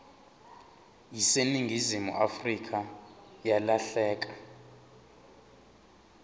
yaseningizimu afrika yalahleka